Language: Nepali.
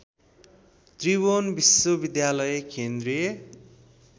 त्रिभुवन विश्वविद्यालय केन्द्रीय